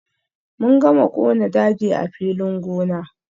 Mun gama kona daji a filin gona.